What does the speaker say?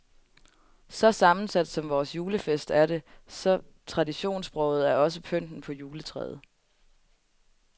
Så sammensat som vores julefest er det, så traditionsbroget er også pynten på juletræet.